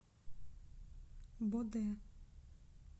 боде